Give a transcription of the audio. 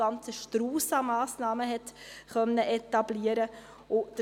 ein ganzer Strauss an Massnahmen konnte etabliert werden.